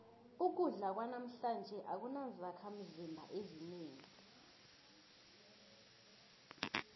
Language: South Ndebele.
ukudla kwanamhlanje akunazakhimzimba ezinengi